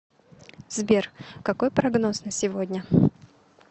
сбер какой прогноз на сегодня